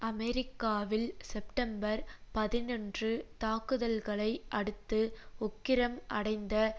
அமெரிக்காவில் செப்டம்பர் பதினொன்று தாக்குதல்களை அடுத்து உக்கிரம் அடைந்த